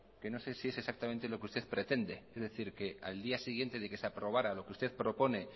que no sé si es exactamente lo que usted pretende es decir que al día siguiente de que se aprobara lo que usted propone